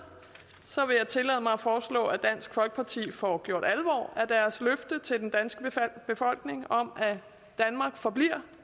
vil jeg tillade mig at foreslå at dansk folkeparti får gjort alvor af deres løfte til den danske befolkning om at danmark forbliver